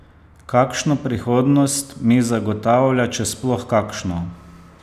Kakšno prihodnost mi zagotavlja, če sploh kakšno?